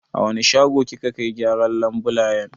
A wani shago kika kai gyaran labulayen.